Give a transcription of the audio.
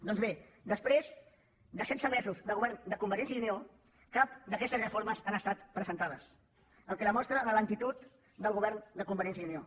doncs bé després de setze mesos de govern de convergència i unió cap d’aquestes reformes han estat presentades cosa que demostra la lentitud del govern de convergència i unió